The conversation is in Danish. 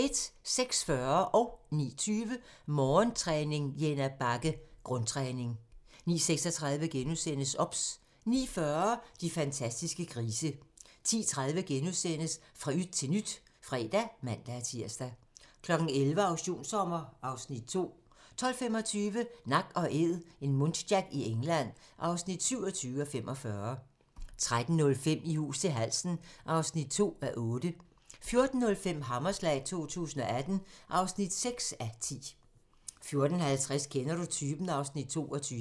06:40: Morgentræning: Jenna Bagge - grundtræning 09:20: Morgentræning: Jenna Bagge - grundtræning 09:36: OBS * 09:40: De fantastiske grise 10:30: Fra yt til nyt *(fre og man-tir) 11:00: Auktionssommer (Afs. 2) 12:25: Nak & Æd - en muntjac i England (27:45) 13:05: I hus til halsen (2:8) 14:05: Hammerslag 2018 (6:10) 14:50: Kender du typen? (Afs. 22)